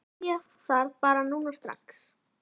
Þú vilt byrja þar bara núna strax?